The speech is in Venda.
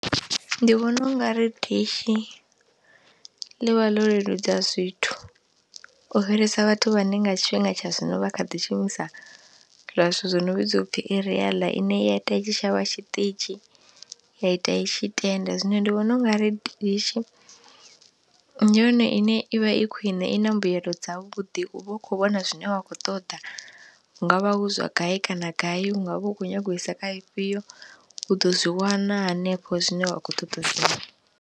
Ndi vhona ungari dishi ḽi vha ḽo leludza zwithu u fhirisa vhathu vhane nga tshifhinga tsha zwino vha kha ḓi shumisa zwiḽa zwithu zwo no vhidzwa u pfhi eriyaḽa ine i ya ita i tshi shavha tshiṱitshi ya ita i tshi tenda, zwino ndi vhona ungari dishi ndi yone ine i vha i khwine, i na mbuyelo dza vhuḓi, u vha u khou vhona zwine wa kho ṱoḓa, hungavha hu zwa gai kana gai, hu nga vha u khou nyaga u isa kha ifhio, u ḓo zwi wana hanefho zwine wa khou ṱoḓa u zwi.